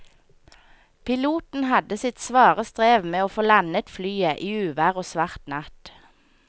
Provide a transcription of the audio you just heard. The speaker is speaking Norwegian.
Piloten hadde sitt svare strev med å få landet flyet i uvær og svart natt.